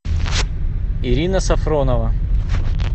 ирина сафронова